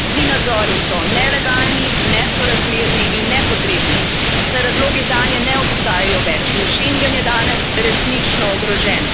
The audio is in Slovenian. Ti nadzori so nelegalni, nesorazmerni in nepotrebni, saj razlogi zanje ne obstajajo več in schengen je danes resnično ogrožen.